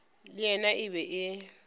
le yena e be e